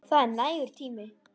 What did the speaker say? Það er nægur tími.